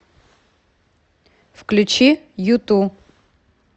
включи юту